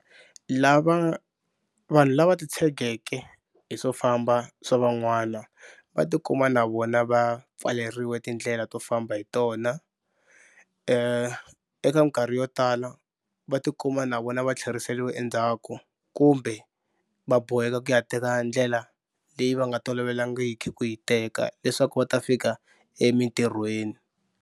Lava vanhu lava titshegeke hi swo famba swa van'wana va tikuma na vona va pfaleriwa tindlela to famba hi tona eka nkarhi yo tala va tikuma na vona va tlheriseriwa endzhaku kumbe va boheka ku ya teka ndlela leyi va nga tolovelangiki ku yi teka leswaku va ta fika emitirhweni.